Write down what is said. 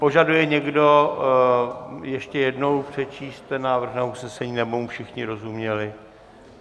Požaduje někdo ještě jednou přečíst ten návrh usnesení, nebo mu všichni rozuměli?